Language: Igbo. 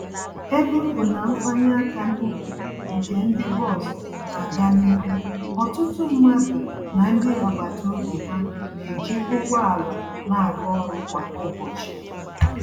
Ebe ọ bụ na mfanye aka n'ukwu nke ndi bọs na-aga n'ihu, ọtụtụ mmadụ na ndị agbata obi ha na-eji ụgbọ ala na-aga ọrụ kwa ụbọchị.